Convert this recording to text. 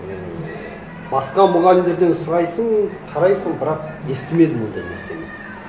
мен басқа мұғалімдерден сұрайсың қарайсың бірақ естімедім ондай нәрсені